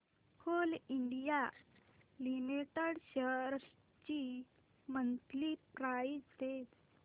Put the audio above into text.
Coal India Limited shares ची monthly price range